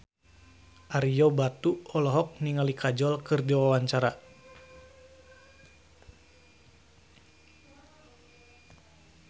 Ario Batu olohok ningali Kajol keur diwawancara